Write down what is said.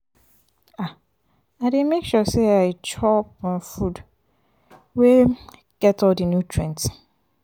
um i dey make sure sey i chop um food wey um get all di nutrients.